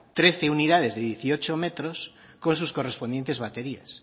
trece unidades de dieciocho metros con sus correspondientes baterías